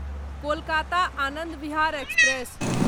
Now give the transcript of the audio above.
Kolkata Anand Vihar express